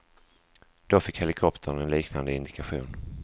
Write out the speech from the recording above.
Då fick helikoptern en liknande indikation.